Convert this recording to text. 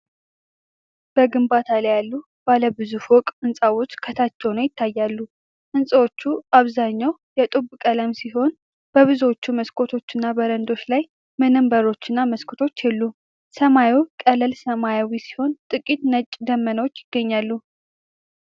በግንባታ ላይ ያሉ ባለ ብዙ ፎቅ ሕንጻዎች ከታች ሆነው ይታያሉ። ሕንፃዎቹ አብዛኛው የጡብ ቀለም ሲሆን፤ በብዙዎቹ መስኮቶችና በረንዳዎች ላይ ምንም በሮችና መስኮቶች የሉም። ሰማዩ ቀላል ሰማያዊ ሲሆን ጥቂት ነጭ ደመናዎች ይገኛሉ።